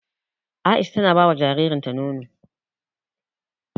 Aisha tana bawa jaririn ta nono